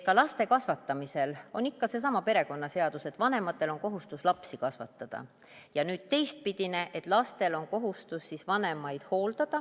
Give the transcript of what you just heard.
Ka laste kasvatamise puhul on ikka seesama perekonnaseadus, et vanematel on kohustus lapsi kasvatada, ja ka teistpidi, et lastel on kohustus siis vanemaid hooldada.